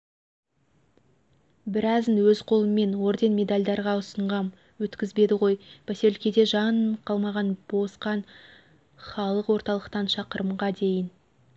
біразын өз қолыммен орден медальдарға ұсынғам өткізбеді ғой поселкеде жан қалмаған босқан халық орталықтан шқырымға дейін